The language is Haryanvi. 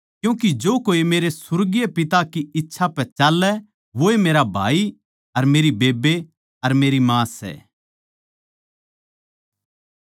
क्यूँके जो कोए मेरे सुर्गीय पिता की इच्छा पै चाल्लै वोए मेरा भाई मेरी बेब्बे अर मेरी माँ सै